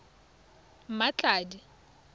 mmatladi